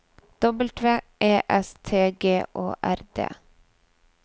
W E S T G Å R D